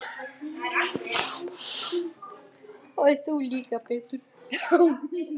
Hann hefur alltaf vitlaus verið.